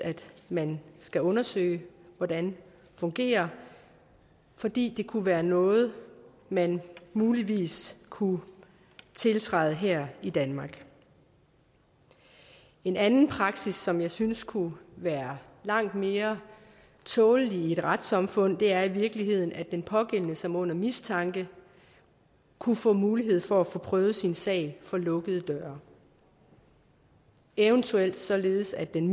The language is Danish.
man skal undersøge hvordan fungerer fordi det kunne være noget man muligvis kunne tiltræde her i danmark en anden praksis som jeg synes kunne være langt mere tålelig i et retssamfund er i virkeligheden at den pågældende som er under mistanke kunne få mulighed for at få prøvet sin sag for lukkede døre eventuelt således at den